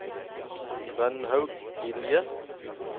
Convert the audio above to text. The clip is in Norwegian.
Rønnaug Gilje